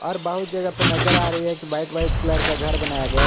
और बहुत जगह पर नजर आ रही है कि व्हाइट व्हाइट कलर का घर बनाया गया--